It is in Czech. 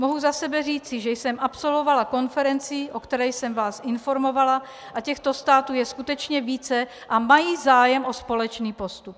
Mohu za sebe říci, že jsem absolvovala konferenci, o které jsem vás informovala, a těchto států je skutečně více a mají zájem o společný postup.